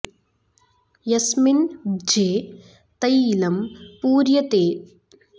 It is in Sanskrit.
यस्मिन् भ्जे तैलं पूर्यते तत्र जलतलं अधो घमिष्यति अपरस्मिन् च तस्योच्छितिः ऊर्ध्वं गमिष्यति